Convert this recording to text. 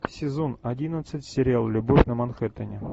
сезон одиннадцать сериал любовь на манхэттене